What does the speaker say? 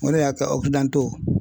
O de y'a kɛ